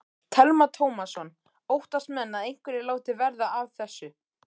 Telma Tómasson: Óttast menn að einhverjir láti verða af þessu?